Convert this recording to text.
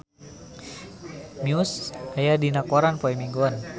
Muse aya dina koran poe Minggon